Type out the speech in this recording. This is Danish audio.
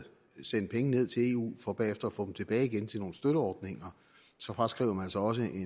sende penge ned til eu for bagefter at få dem tilbage igen til nogle støtteordninger så fraskriver man sig også i